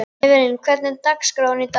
Evelyn, hvernig er dagskráin í dag?